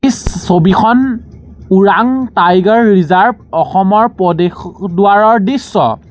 ছবিখন Orang tiger reserve অসমৰ প্ৰদেশদ্বাৰৰ দৃশ্য।